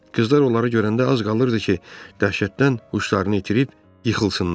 Qızlar onları görəndə az qalırdı ki, dəhşətdən huşlarını itirib yıxılsınlar.